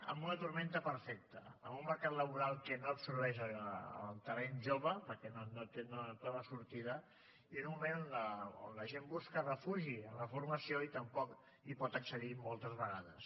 amb una tempesta perfecta amb un mercat laboral que no absorbeix el talent jove perquè no troba sortida i en un moment on la gent busca refugi en la formació i tampoc hi pot accedir moltes vegades